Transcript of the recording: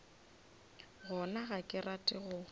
gona ga ke rate go